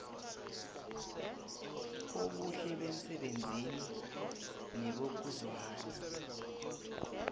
obuhle bemsebenzini nebokuzwana